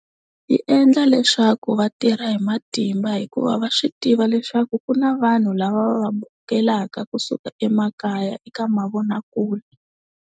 Yi endla leswaku vatirha hi matimba hikuva va swi tiva leswaku ku na vanhu lava va vukelaka kusuka emakaya eka mavonakule.